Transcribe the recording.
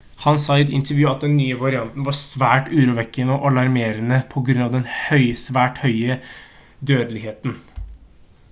han sa i et intervju at den nye varianten var «svært urovekkende og alarmerende på grunn av den svært høye dødeligheten»